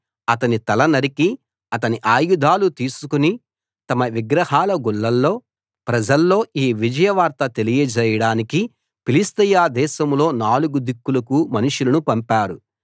అతని తల నరికి అతని ఆయుధాలు తీసుకు తమ విగ్రహాల గుళ్లలో ప్రజల్లో ఈ విజయ వార్త తెలియజేయడానికి ఫిలిష్తీయ దేశంలో నాలుగు దిక్కులకూ మనుషులను పంపారు